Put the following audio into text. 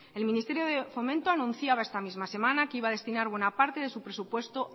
el ministerio de fomento anunciaba esta misma semana que iba a destinar buena parte de su presupuesto